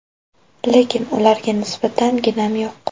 Lekin ularga nisbatan ginam yo‘q.